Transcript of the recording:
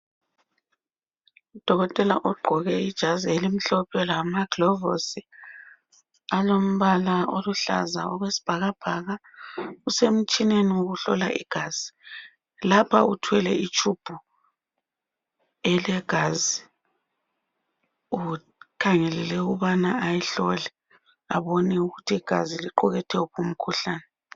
Udokela ugqoke ibhatshi elimhlophe nke lamagilavisi alombala oyisibhakabhaka lapha usemtshineni wokuhlola ,lapha uthwele itshubhu yegazi afuna ukuyihlola lokuthi liqukathe uphi umkhuhlane.